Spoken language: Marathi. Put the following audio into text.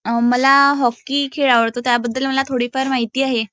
मला हॉकी खेळ आवडतो त्याबद्दल मला थोडीफार माहिती आहे